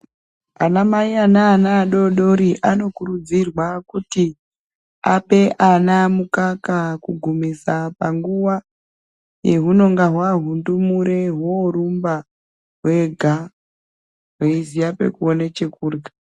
Anamayi aneanaadodori anokurudzirwa kuti apeana mukaka kugumisa panguva yehunonga hwahundumure hworumba hwega hweiziya pekuona chekurya